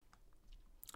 DR1